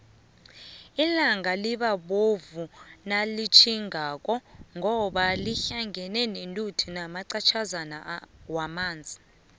ilanga liba bovu nalitjhingako ngoba lihlangene nethuli namaqatjhazana wamanzi